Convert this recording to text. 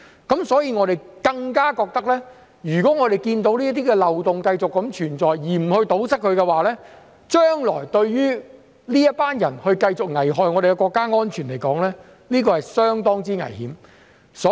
我們更加覺得，如果我們看到這些漏洞，讓它們繼續存在而不予堵塞，讓這群人將來繼續危害國家安全，是相當危險的。